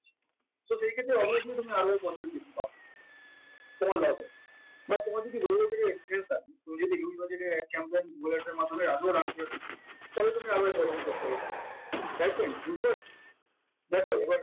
so সেইক্ষেত্রে তুমি অবশ্যই positive কিছু পাবে বা তোমার যদি experience থাকে তুমি যদি huge budget এর ad campaign google Ads এর মাধ্যমে তাহলে তুমি আরো দেখ এবার